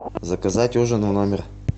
заказать ужин в номер